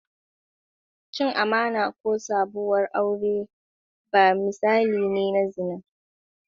Cin amana ko saduwar aure ba misali ne na zina.